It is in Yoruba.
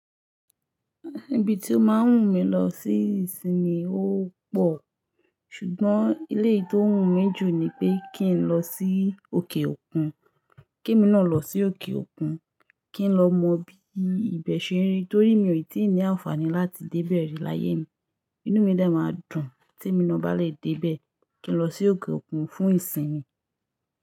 Ibi tí ó máa ń wù mí lọ sí ìsinmi ó pọ̀, ṣùgbọ́n eleyii tí ó wùnmí jù ni pé kí n lọ sí òkè òkun. Kí emi ná lọ sí òkè òkun, kí n lọ mọ bí ibẹ̀ ṣe rí torí mi ò tí ì ní àǹfààní láti dé be ri láyé mi. Inú mi de máa dùn tí emi naa bá lè dé ibẹ̀. Kí n lọ sí òkè òkun fún ìsinmi.